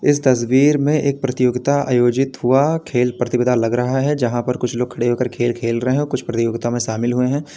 इस तस्वीर में एक प्रतियोगिता आयोजित हुआ खेल प्रतियोगिता लग रहा है जहां पर कुछ लोग खड़े होकर खेल रहे हैं कुछ प्रतियोगिता में शामिल हुए हैं।